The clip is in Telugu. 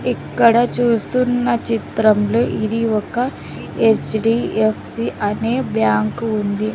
ఇక్కడ చూస్తున్న చిత్రం లో ఇది ఒక హెచ్_డి_ఎఫ్_సి అనే బ్యాంకు ఉంది.